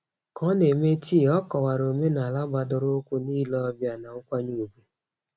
Ka ọ na-eme tii, ọ kọwara omenala gbadoroụkwụ n'ile ọbịa na nkwanye ùgwù.